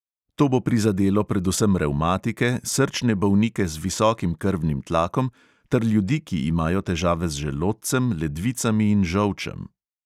To bo prizadelo predvsem revmatike, srčne bolnike z visokim krvnim tlakom ter ljudi, ki imajo težave z želodcem, ledvicami in žolčem.